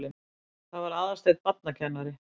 Það var Aðalsteinn barnakennari.